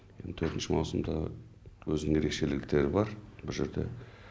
төртінші маусымда өзінің ерекшеліктері бар бұл жерде